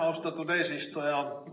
Austatud eesistuja!